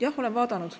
Jah, olen vaadanud.